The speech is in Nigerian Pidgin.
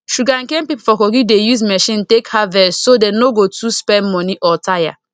sugarcane people for kogi dey use machine take harvest so dem no go too spend money or tire